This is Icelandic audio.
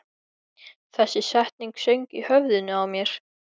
Þessi setning söng í höfðinu á mér.